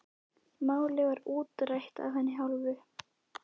Málið var útrætt af hennar hálfu.